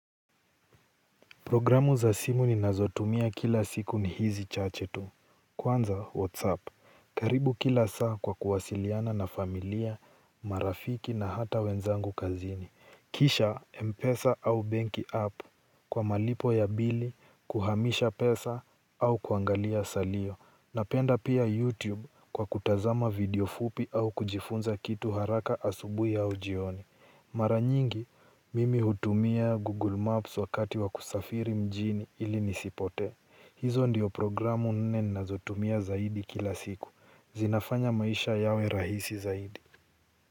Programu za simu ninazotumia kila siku ni hizi chache tu. Kwanza WhatsApp. Karibu kila saa kwa kuwasiliana na familia, marafiki na hata wenzangu kazini. Kisha, Mpesa au benki app, kwa malipo ya bili, kuhamisha pesa, au kuangalia salio. Napenda pia YouTube kwa kutazama video fupi au kujifunza kitu haraka asubuhi au jioni. Mara nyingi, mimi hutumia Google Maps wakati wa kusafiri mjini ili nisipotee. Hizo ndio programu nne ninazotumia zaidi kila siku. Zinafanya maisha yawe rahisi zaidi.